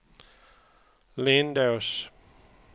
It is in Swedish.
Lindås